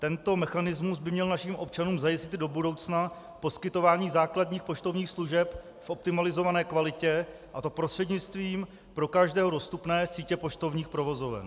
Tento mechanismus by měl našim občanům zajistit do budoucna poskytování základních poštovních služeb v optimalizované kvalitě, a to prostřednictvím pro každého dostupné sítě poštovních provozoven.